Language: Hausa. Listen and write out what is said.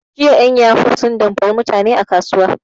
Jiya en yahu sun damfari mutani a kasuwa